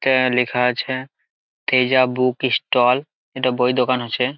এখানে লেখা আছে তেজা বুক ইষ্টল এটা বইয়ের দোকান আছে।